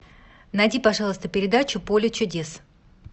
найди пожалуйста передачу поле чудес